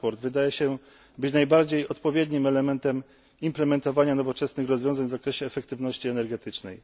Transport wydaje się być najbardziej odpowiednim elementem implementowania nowoczesnych rozwiązań w zakresie efektywności energetycznej.